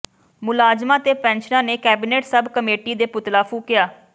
ਮੁਲਾਜ਼ਮਾਂ ਤੇ ਪੈਨਸ਼ਨਰਾਂ ਨੇ ਕੈਬਿਨਟ ਸਬ ਕਮੇਟੀ ਦੇ ਪੁਤਲਾ ਫੂਕਿਆ